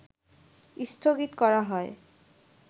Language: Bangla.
স্থগিত করা হয়